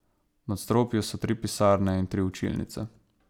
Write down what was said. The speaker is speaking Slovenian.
V nadstropju so tri pisarne in tri učilnice.